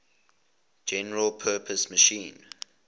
general purpose machine